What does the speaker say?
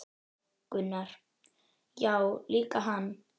Gunnar: Já líka hann